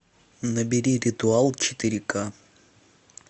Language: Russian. набери ритуал четыре к